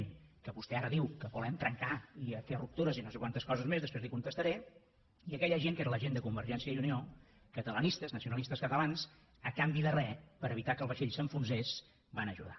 que vostè ara diu que volem trencar i fer ruptures i no sé quantes coses més després li ho contestaré i aquella gent que era la gent de convergència i unió catalanistes nacionalistes catalans a canvi de res per evitar que el vaixell s’enfonsés van ajudar